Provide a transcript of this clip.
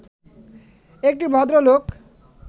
একটি ভদ্রলোক